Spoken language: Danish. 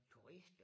Turister